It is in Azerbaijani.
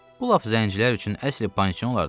Bu lap zəncilər üçün əsl pansion olardı ki.